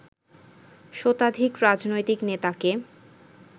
শতাধিক রাজনৈতিক নেতাকে